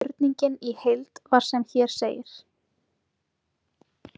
Spurningin í heild var sem hér segir: